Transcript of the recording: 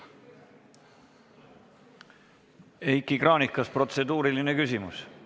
Heiki Kranich, kas on protseduuriline küsimus?